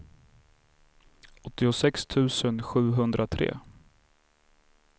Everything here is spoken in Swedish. åttiosex tusen sjuhundratre